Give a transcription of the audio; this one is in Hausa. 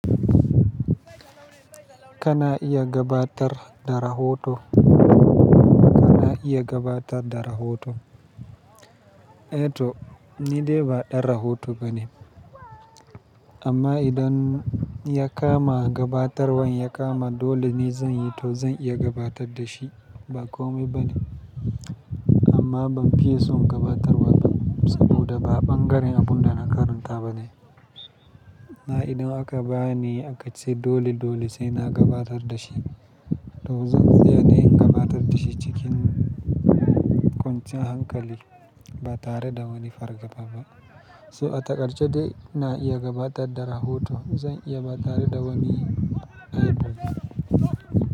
Kana iya gabatar da rahoto? Kana iya gabatar da rahoto? Eh to, ni dai ba ɗan rahoto bane. Amma idan ya kama gabatarwan ya kama dole ni zan yi to zan iya gabatar da shi. Ba komai bane. Amma ban fiye son gabatarwa ba saboda ba ɓangaren abun da na karanta bane. Na idan aka bani a kaice dole dole sai na gabatar da shi, to zan tsaya ne in gabatar da shi cikin kwanciyar hankali. Ba tare da wani farga ba. So atakarce dai na iya gabatar da rahoto. Zan iya ba tare da wani ehh bo.